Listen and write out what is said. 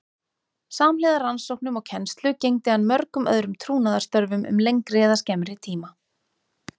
Samhliða rannsóknum og kennslu gegndi hann mörgum öðrum trúnaðarstörfum um lengri eða skemmri tíma.